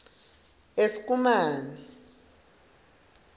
eskumane